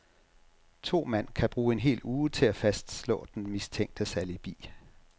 To mand kan bruge en hel uge til at fastslå den mistænktes alibi.